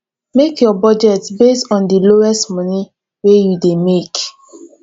make your budget based on di lowest money wey you dey make